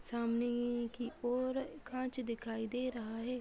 --सामने ये की-इ-इ ओर कांच दिखाई दे रहा है।